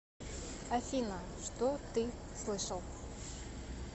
афина что ты слышал